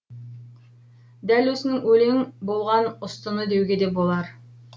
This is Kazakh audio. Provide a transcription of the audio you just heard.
дәл осының өлең болған ұстыны деуге де болар